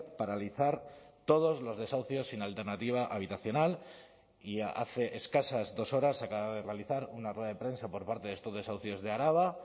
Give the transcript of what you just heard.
paralizar todos los desahucios sin alternativa habitacional y hace escasas dos horas se acaba de realizar una rueda de prensa por parte de estos desahucios de araba